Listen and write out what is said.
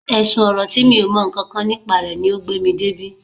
Ẹ̀sùn ọ̀rọ̀ tí mi ò mọ nǹkan kan nípa rẹ̀ ni o gbé mi débí